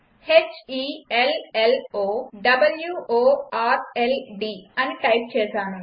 h e l l o w o r l d అని టైప్ చేసాను